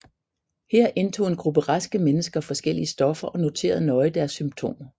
Her indtog en gruppe raske mennesker forskellige stoffer og noterede nøje deres symptomer